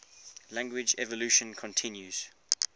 language evolution continues